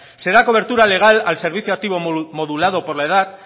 se da cobertura legal al servicio activo modulado por la edad